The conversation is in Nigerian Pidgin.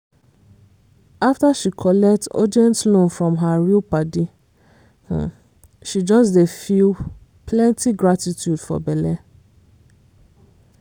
after she collect urgent loan from her real padi she just dey feel plenty gratitude for belle.